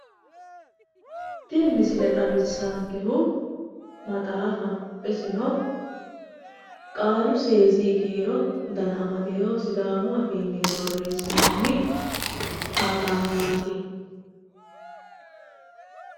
Tini misile xawissaankehu maxaafaho isino qaalu seesi kiiro dana amadino sidaamu afiinni borreessinoonni maxaafaati.